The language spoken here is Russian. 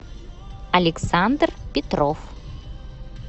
александр петров